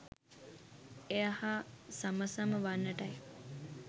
එය හා සම සම වන්නටයි.